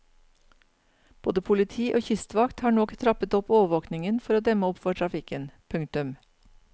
Både politi og kystvakt har nå trappet opp overvåkingen for å demme opp for trafikken. punktum